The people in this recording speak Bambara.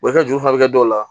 Wa i ka juru furakɛ dɔw la